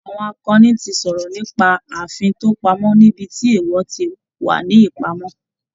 Àwọn akọni ti sọ̀rọ̀ nípa ààfin tó pamọ́ níbi tí èèwọ̀ ti wà ní ìpamọ́